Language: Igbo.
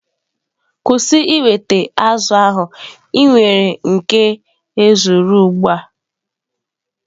Kwụsị ịweta azụ̀ ahụ!, i nwere nke ezuru ugbua